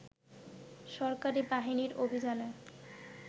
সরকারি বাহিনীর অভিযানে